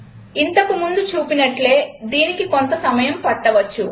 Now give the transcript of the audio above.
ఇంతకు ముందు చూసినట్లే దీనికి కొంత సమయం పట్టవచ్చు